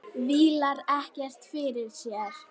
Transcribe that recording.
Vílar ekkert fyrir sér.